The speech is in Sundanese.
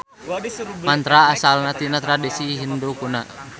Mantra asalna tina tradisi Hindu kuna.